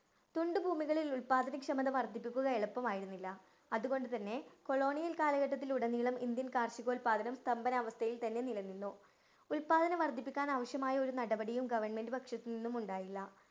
തുണ്ട് ഭൂമികളില്‍ ഉല്‍പാദന ക്ഷമത വര്‍ദ്ധിപ്പിക്കുക എളുപ്പമായിരുന്നില്ല. അതുകൊണ്ട് തന്നെ കൊളോണിയല്‍ കാലഘട്ടത്തിലുടനീളം ഇന്ത്യൻ കാര്‍ഷിക ഉല്‍പാദനം സ്തംഭനാവസ്ഥയില്‍ തന്നെ നിലനിന്നു. ഉല്‍പാദനം വര്‍ധിപ്പിക്കാന്‍ ആവശ്യമായ ഒരു നടപടിയും government പക്ഷത്ത് നിന്നും ഉണ്ടായില്ല.